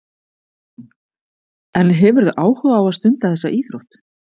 Hugrún: En hefurðu áhuga á að stunda þessa íþrótt?